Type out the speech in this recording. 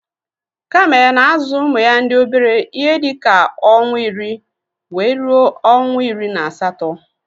Kamel na azu ụmụya ndi obere ihe dika onwa iri wee ruọ onwa iri na asatọ